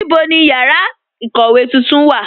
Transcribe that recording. Níbo ni yára ikówe tuntun wà?